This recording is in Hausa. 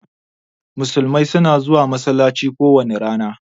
Musulmai suna zuwa masallaci kowani rana.